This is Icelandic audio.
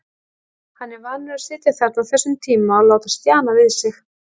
Hann er vanur að sitja þarna á þessum tíma og láta stjana við sig.